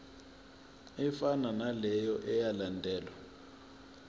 efanayo naleyo eyalandelwa